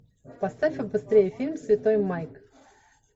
поставь побыстрее фильм святой майк